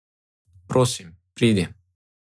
Prosim, pridi.